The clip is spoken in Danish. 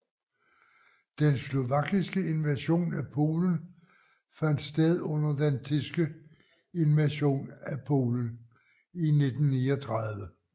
Den slovakiske invasion af Polen fandt sted under den tyske invasion af Polen i 1939